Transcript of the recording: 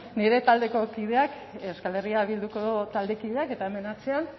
nire taldeko kideak euskal herria bilduko taldekideak eta hemen atzean